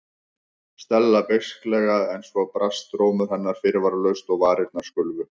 Stella beisklega en svo brast rómur hennar fyrirvaralaust og varirnar skulfu.